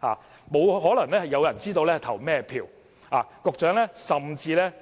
"的，沒有人有可能知道選委投了票給哪一位候選人。